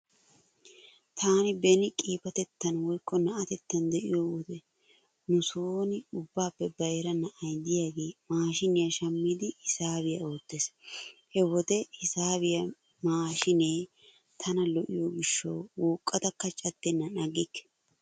Taani beni qiibatettan woykko na'atettan de'iyo wode nu sooni ubbaappe bayra na'ay diyagee maashiiniya shammidi hisaabiya oottees. He wode hisaabiya maashiinee tana lo'iyo gishshawu wuuqqadakka caddennan aggikke.